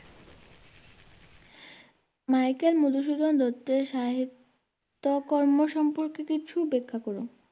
Michael Madhusudan দত্তের সাহিত্যকর্ম সম্পর্কে কিছু ব্যাখ্যা করো।